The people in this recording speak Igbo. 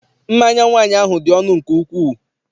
Mmanya nwaanyị ahụ dị ọnụ nke ukwuu.